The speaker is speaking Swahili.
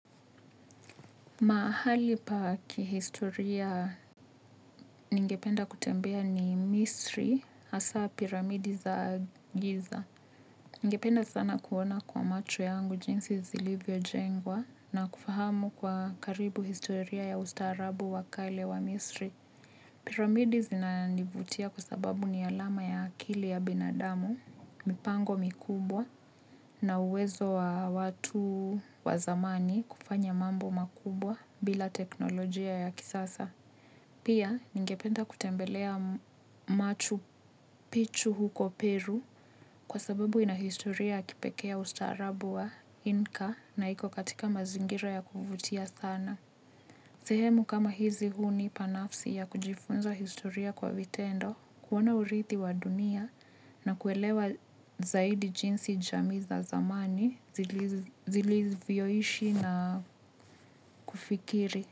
Mahali pa kihistoria ningependa kutembea ni Misri, hasa piramidi za giza. Ningependa sana kuona kwa macho yangu jinsi zilivyo jengwa na kufahamu kwa karibu historia ya ustarabu wakale wa misri. Piramidi zinanivutia kwasababu ni alama ya akili ya binadamu, mipango mikubwa, na uwezo wa watu wa zamani kufanya mambo makubwa bila teknolojia ya kisasa. Pia, ningependa kutembelea machu pichu huko Peru kwa sababu inahistoria ya kipekeeya ustarabu wa Inka na iko katika mazingira ya kuvutia sana. Sehemu kama hizi huni panafsi ya kujifunza historia kwa vitendo, kuona uridhi wa dunia na kuelewa zaidi jinsi jamii za zamani zili vyoishi na kufikiri.